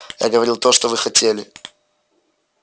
я говорил то что вы хотели